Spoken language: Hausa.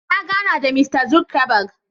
Na gana da Mista Zuckerberg.